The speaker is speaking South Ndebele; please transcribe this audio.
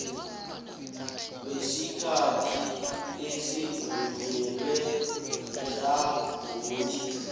besikhathi esivunyelwe ihlangothi